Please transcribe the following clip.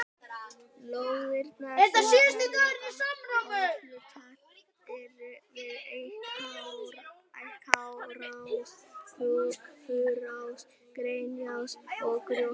Lóðirnar sem verður úthlutað eru við Eikarás, Furuás, Greniás og Grjótás.